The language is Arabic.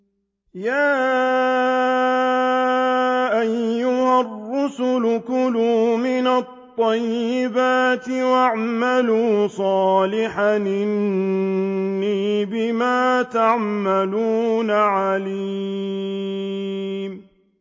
يَا أَيُّهَا الرُّسُلُ كُلُوا مِنَ الطَّيِّبَاتِ وَاعْمَلُوا صَالِحًا ۖ إِنِّي بِمَا تَعْمَلُونَ عَلِيمٌ